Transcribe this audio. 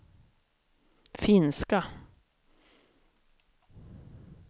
finska